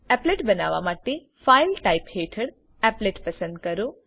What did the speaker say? applet બનાવવા માટે file types હેઠળ એપ્લેટ પસંદ કરો